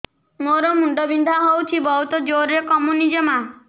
ମୋର ମୁଣ୍ଡ ବିନ୍ଧା ହଉଛି ବହୁତ ଜୋରରେ କମୁନି ଜମା